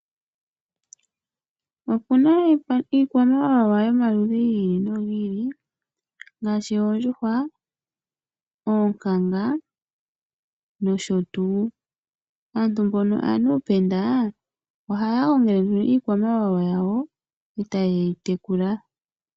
Opuna iikwamawawa yomaludhi gi ili nogi ili ngaashi oondjuhwa, oonkanga nosho tuu. Aantu mbono aanuupenda ohaya gongele nduno iikwamawawa yawo eta ye yi tekula.